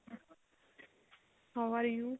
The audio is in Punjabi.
how are you